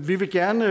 vi vil gerne